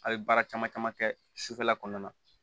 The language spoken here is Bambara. A ye baara caman caman kɛ sufɛla kɔnɔna na